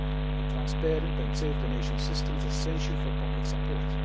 A transparent and safe donation system is essential for public support.